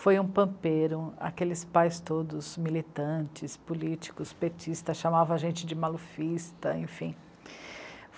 Foi um pampeiro, aqueles pais todos, militantes, políticos, petistas, chamavam a gente de malufista, enfim.